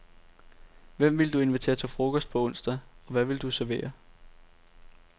Hvem ville du invitere til frokost på onsdag, og hvad ville du servere?